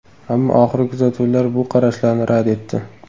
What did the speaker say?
Ammo oxirgi kuzatuvlar bu qarashlarni rad etdi.